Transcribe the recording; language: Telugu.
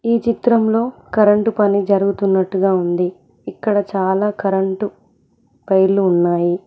ఈ చిత్రంలో కరెంటు పని జరుగుతున్నట్టుగా ఉంది ఇక్కడ చాలా కరెంటు వైర్లు ఉన్నాయి.